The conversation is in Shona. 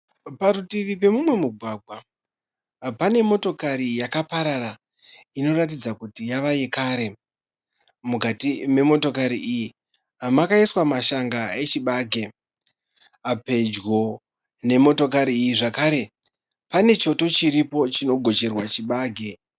Parutivi pemumwe mugwagwa pane motokari yakaparara inoratidza kuti yave yekare. Mukati memotakari iyi makaiswa mashanga echibage. Pedyo nemotikari iyi zvakare pane choto chiripo chino gocherwa chibage.